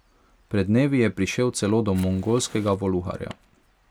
Pred dnevi je prišel celo do mongolskega voluharja.